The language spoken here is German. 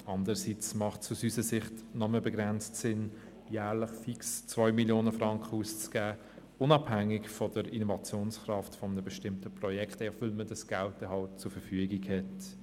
Andererseits ist es aus unserer Sicht nur begrenzt sinnvoll, jährlich fix 2 Mio. Franken auszugeben, unabhängig von der Innovationskraft eines bestimmten Projekts, einfach weil dieses Geld zur Verfügung steht.